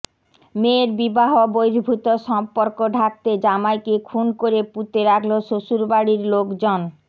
মেয়ের বিবাহ বহির্ভূত সম্পর্ক ঢাকতে জামাইকে খুন করে পুঁতে রাখল শ্বশুরবাড়ির লোকজন